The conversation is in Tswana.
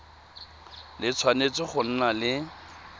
le tshwanetse go nna le